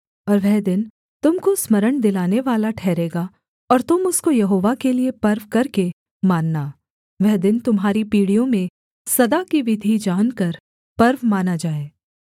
और वह दिन तुम को स्मरण दिलानेवाला ठहरेगा और तुम उसको यहोवा के लिये पर्व करके मानना वह दिन तुम्हारी पीढ़ियों में सदा की विधि जानकर पर्व माना जाए